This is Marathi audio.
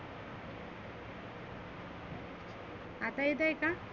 आता येतय का?